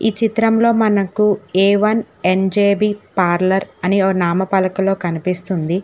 ఈ చిత్రంలో మనకు ఏ ఎన్ ఎన్_జే_బీ పార్లర్ అని ఓ నామ పలకలో కనిపిస్తుంది.